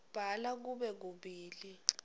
bhala kube kubili